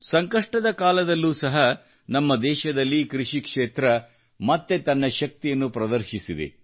ಸಂಕಷ್ಟದ ಈ ಕಾಲದಲ್ಲೂ ಸಹ ನಮ್ಮ ದೇಶದಲ್ಲಿ ಕೃಷಿಕ್ಷೇತ್ರ ಮತ್ತೆ ತನ್ನ ಶಕ್ತಿಯನ್ನು ಪ್ರದರ್ಶಿಸಿದೆ